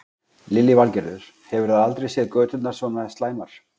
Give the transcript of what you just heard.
Lillý Valgerður: Hefurðu aldrei séð göturnar svona slæmar?